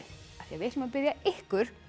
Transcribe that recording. við ætlum að biðja ykkur